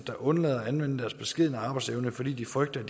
der undlader at anvende deres beskedne arbejdsevne fordi de frygter at